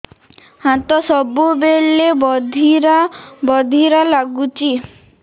ହାତ ସବୁବେଳେ ବଧିରା ବଧିରା ଲାଗୁଚି